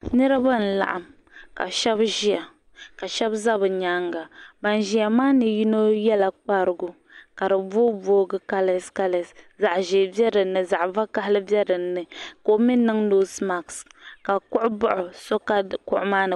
Nirba n laɣim ka sheba ʒia ka sheba za bɛ nyaanga ban ʒia maa puuni yino yela kparigu ka ka di boo boogi kales kales zaɣa ʒer be dinni zaɣa vakahali be dinni ka o mee niŋ noosi maasi ka kuɣu baɣi o so ka kuɣu maa ni.